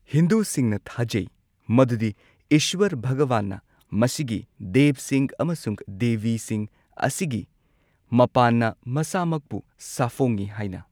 ꯍꯤꯟꯗꯨꯁꯤꯡꯅ ꯊꯥꯖꯩ ꯃꯗꯨꯗꯤ ꯏꯁ꯭ꯋꯔ ꯚꯒꯕꯥꯟꯅ ꯃꯁꯤꯒꯤ ꯗꯦꯕꯁꯤꯡ ꯑꯃꯁꯨꯡ ꯗꯦꯕꯤꯁꯤꯡ ꯑꯁꯤꯒꯤ ꯃꯄꯥꯟꯅ ꯃꯁꯥꯃꯛꯄꯨ ꯁꯥꯐꯣꯡꯏ ꯍꯥꯏꯅ꯫